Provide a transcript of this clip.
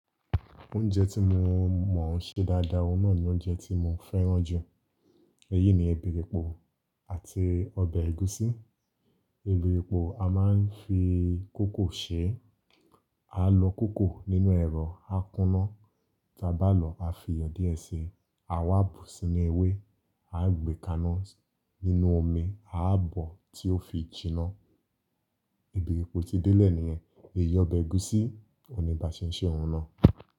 Oúnjẹ tí mo mọ̀ n ṣe dáadáa, ọ̀hun nà ni oúnjẹ tí mo fẹ́ràn jù. Èyí ni ọbẹ̀ èpò àti ọbẹ̀ ẹ̀gúsí. Ọbẹ èpò a máa ń fi kókò ṣe. A lọ kókò nínú ẹ̀rọ, a kúná. Tí a bá lọ̀, a fi iyọ̀ díẹ̀ ṣe. A wá bù sí inú ewé, a gbè kaná nínú omi, a bọ̀ tí ó fi jiná. Ọbẹ èpò ti délẹ̀ nìyẹn. Èyí ọbẹ̀ ẹ̀gúsí, oní bá ṣe, ṣe òun náà.